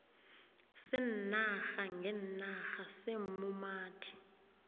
seenarha ngeenarha seemumathi